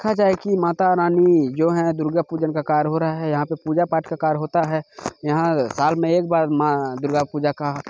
देखा जाये की माता रानी जो है दुर्गा पूजन का कार्य हो रहा है। यहाँ पे पूजा पाठ का कार्य होता है। यहाँ साल में एक बार माँ दुर्गा पूजा का--